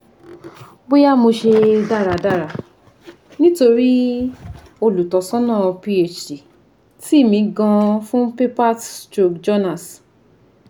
boya mo se daradara nitori olutosana phd ti mi gan fun papers stroke journals